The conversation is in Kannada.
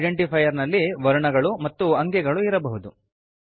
ಐಡೆಂಟಿಫೈರ್ ನಲ್ಲಿ ವರ್ಣಗಳು ಮತ್ತು ಅಂಕೆಗಳು ಇರಬಹುದು